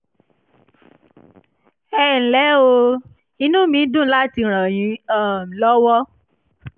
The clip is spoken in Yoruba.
ẹ ǹlẹ́ o! inú mí dùn láti ràn yín um lọ́wọ́